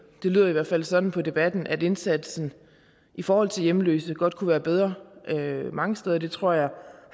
lyder i hvert fald sådan på debatten at indsatsen i forhold til hjemløse godt kunne være bedre mange steder og det tror jeg